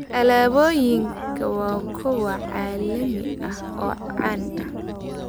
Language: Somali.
Alaabooyinkan waa kuwo caalami ah oo caan ah.